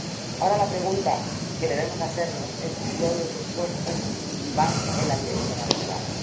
Ahora la pregunta que debemos hacernos es si todo ese esfuerzo va en la dirección adecuada.